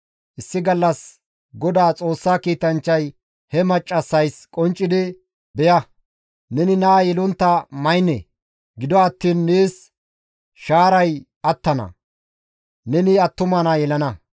Issi gallas Godaa Xoossa kiitanchchay he maccassaysi qonccidi, «Beya! Neni naa yelontta maynne; gido attiin nees shaaray attana; neni attuma naa yelana.